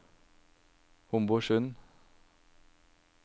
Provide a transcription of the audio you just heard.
Homborsund